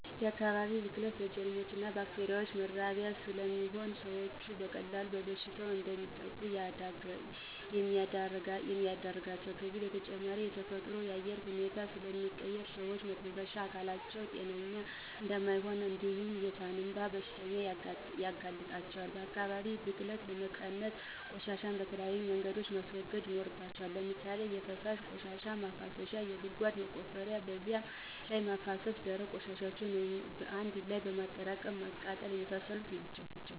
የአካባቢ ብክለት ለጀርሞችና ባክቴሪያዎች መራቢያ ስለሚሆን ሰዎች በቀላሉ በበሽታ እንዲጠቁ ያደርጋቸዋል ከዚህ በተጨማሪ የተፈጥሮን የአየር ሁኔታ ስለሚቀይር ሰዎች የመተንፈሻ አካላቸው ጤነኛ እንዳይሆን እንዲሁም የሳንባ በሽተኛ ያርጋቸዋል። የአካባቢ ብክለትን ለመቀነስ፦ ቆሻሻን በተለያዩ መንገድ ማስወገድ ይኖርባቸዋል። ለምሳሌ የፈሳሽ ቆሻሻ ማፋሰሻ ጉድጓድ በመቆፈር በዚያ ላይ ማፋሰስ፣ ደረቅ ቆሻሻን በአንድ ላይ በማጠራቀም ማቃጠል የመሳሰሉት ናቸው